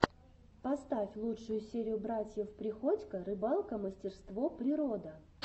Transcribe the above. поставь лучшую серию братьев приходько рыбалка мастерство природа